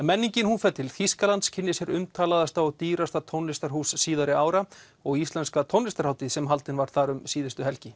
menningin fer til Þýskalands kynnir sér umtalaðasta og dýrasta tónlistarhús síðari ára og íslenska tónlistarhátíð sem haldin var þar um síðustu helgi